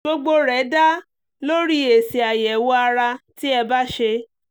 gbogbo rẹ̀ dá lórí èsì àyẹ̀wò ara tí ẹ bá ṣe